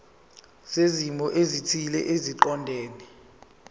zezimo ezithile eziqondene